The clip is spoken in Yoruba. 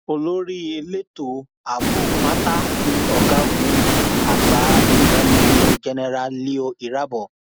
olórí elétò ààbò pátá ni ọgágun àgbà ìyen major general leo irabor